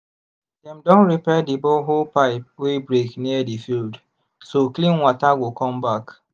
dem don repair the borehole pipe wey break near the field so clean water go come back.